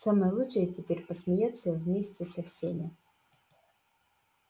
самое лучшее теперь посмеяться вместе со всеми